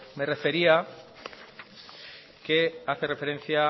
me refería que hace referencia